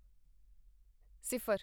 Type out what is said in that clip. ਸਿਫਰ